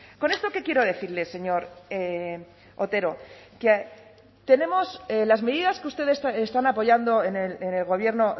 con esto qué quiero decirle señor otero que tenemos las medidas que ustedes están apoyando en el gobierno